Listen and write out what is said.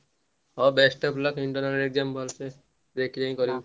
ହଉ best of luck internal exam ।